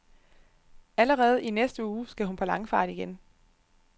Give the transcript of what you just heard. Allerede i næste uge, skal hun på langfart igen.